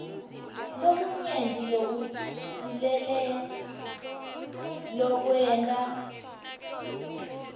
lokunyenti lokusilele lokwenta